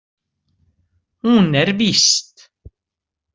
Hún er víst.